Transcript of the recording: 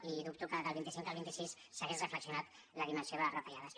i dubto que del vint cinc al vint sis s’hagués reflexionat la dimensió de les retallades